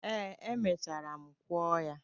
Ee, emechara m kụọ ha.